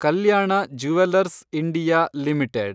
Kalyana jewellers India limited